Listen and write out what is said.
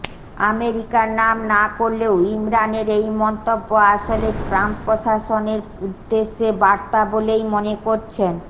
আমেরিকার নাম না করলেও ইমরানের এই মন্তব্য আসলে ট্রাম্প প্রশাসনের উদ্দেশে বার্তা বলেই মনে করছেন